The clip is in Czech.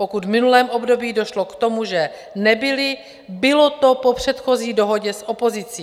Pokud v minulém období došlo k tomu, že nebyly, bylo to po předchozí dohodě s opozicí.